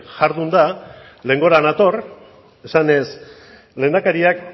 jardunda lehengora nator esanez lehendakariak